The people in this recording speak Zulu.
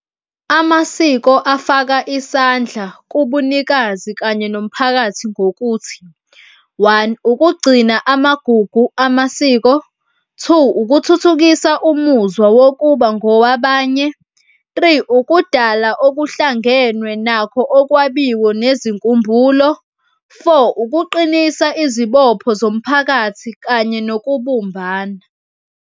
Amasiko afaka isandla kubunikazi kanye nomphakathi ngokuthi, one, ukugcina amagugu amasiko. Two, ukuthuthukisa umuzwa wokuba ngowabanye. Three, ukudala okuhlangenwe nakho okwabiwe nezinkumbulo. Four, ukuqinisa izibopho zomphakathi kanye nokubumbana.